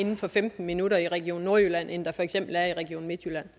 inden for femten minutter i region nordjylland end der for eksempel er i region midtjylland